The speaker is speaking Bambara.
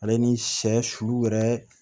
Ale ni sɛ sulu yɛrɛ